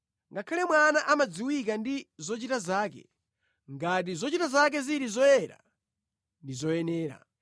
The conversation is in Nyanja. Ngakhale mwana amadziwika ndi zochita zake, ngati zochita zake zili zoyera ndi zoyenera.